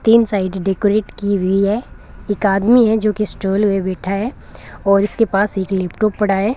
तीन side decorate की हुई है एक आदमी है जो कि स्टॉल में बैठा है और इसके पास एक लैपटॉप पड़ा है।